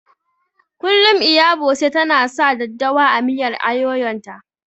Kullum Iya Bose ta na sa daddawa a miyar ayoyon ta